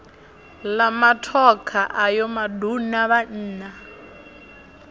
la matokha ayo maduna vhanna